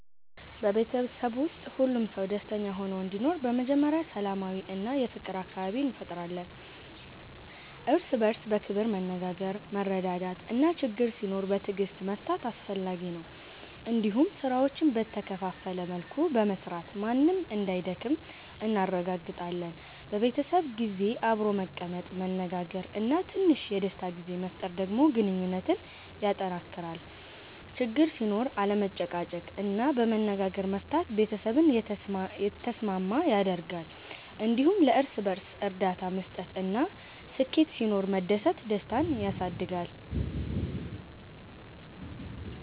በቤተሰብ ውስጥ ሁሉም ሰው ደስተኛ ሆኖ እንዲኖር በመጀመሪያ ሰላማዊ እና የፍቅር አካባቢ እንፈጥራለን። እርስ በእርስ በክብር መነጋገር፣ መረዳዳት እና ችግኝ ሲኖር በትዕግስት መፍታት አስፈላጊ ነው። እንዲሁም ስራዎችን በተከፋፈለ መልኩ በመስራት ማንም እንዳይደክም እናረጋግጣለን። በቤተሰብ ጊዜ አብሮ መቀመጥ፣ መነጋገር እና ትንሽ የደስታ ጊዜ መፍጠር ደግሞ ግንኙነትን ያጠናክራል። ችግኝ ሲኖር አለመጨቃጨቅ እና በመነጋገር መፍታት ቤተሰብን የተስማሚ ያደርጋል። እንዲሁም ለእርስ በእርስ እርዳታ መስጠት እና ስኬት ሲኖር መደሰት ደስታን ያሳድጋል።